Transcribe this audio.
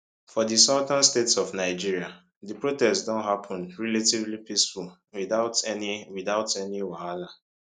for di southern states of nigeria di protests don happun relatively peacefully without any without any wahala